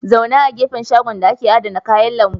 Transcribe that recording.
Zauna a ƙofar shagon da ake adana kayan lambu.